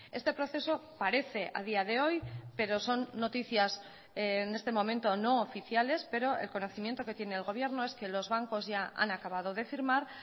este proceso parece a día de hoy pero son noticias en este momento no oficiales pero el conocimiento que tiene el gobierno es que los bancos ya han acabado de firmar